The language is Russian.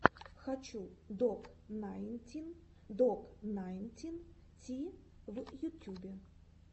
хочу док найнтин док найнтин ти в ютьюбе